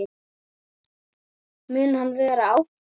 Mun hann vera áfram?